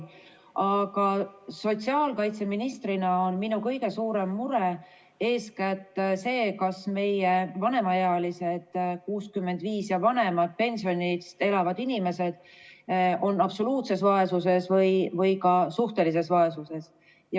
Aga sotsiaalkaitseministrina on minu kõige suurem mure see, kas meie vanemaealised, st 65-aastased ja vanemad pensionist elavad inimesed on absoluutses vaesuses või ka suhtelises vaesuses.